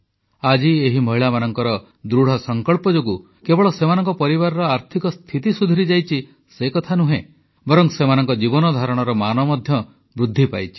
ଆଜି ଏହି ମହିଳାମାନଙ୍କର ଦୃଢ଼ସଂକଳ୍ପ ଯୋଗୁଁ କେବଳ ସେମାନଙ୍କ ପରିବାରର ଆର୍ଥିକ ସ୍ଥିତି ସୁଧୁରିଯାଇଛି ସେକଥା ନୁହେଁ ବରଂ ସେମାନଙ୍କ ଜୀବନଧାରଣ ମାନ ମଧ୍ୟ ବୃଦ୍ଧି ପାଇଛି